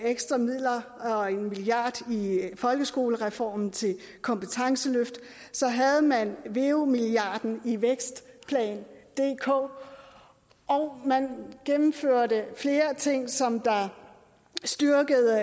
ekstra midler og en milliard i folkeskolereformen til kompetenceløft havde man veu milliarden i vækstplan dk og man gennemførte flere ting som styrkede